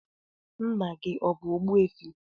Nna gị ọ bụ Ogbuefi?